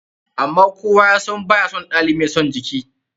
Amma kowa ya san ba ya son ɗalibi mai son jiki.